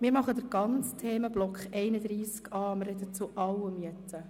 Wir sprechen jetzt über den ganzen Themenblock von Artikel 31a.